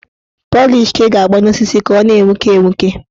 Pọlịsh ka ị ga-agba n' osisi ka ọ na-enwuke enwuke